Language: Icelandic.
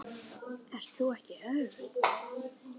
Ert þú ekki Örn?